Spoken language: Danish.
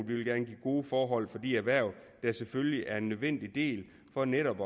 vil gerne give gode forhold for de erhverv der selvfølgelig er en nødvendig del for netop